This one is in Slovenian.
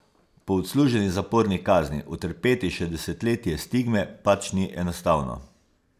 Po odsluženi zaporni kazni utrpeti še desetletje stigme pač ni enostavno.